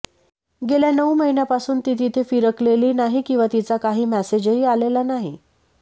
गेल्या नऊ महिन्यांपासून ती तिथे फिरकलेली नाही किंवा तिचा काही मेसेजही आलेला नाही